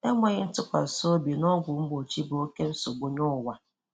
Enwèghị ntụkwàsị́ obi n’ọ́gwụ̀ mgbochi bụ oke nsogbu nye ụwa.